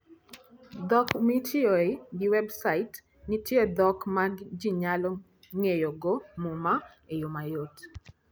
Dhok Mitiyoe gi Websait: Nitie dhok ma ji nyalo ng'eyogo Muma e yo mayot.